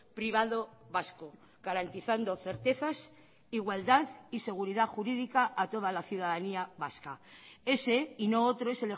privado vasco garantizando certezas igualdad y seguridad jurídica a toda la ciudadanía vasca ese y no otro es